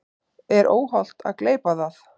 Er óhollt að gleypa það?